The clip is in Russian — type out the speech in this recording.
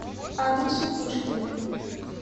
адрес у пушкина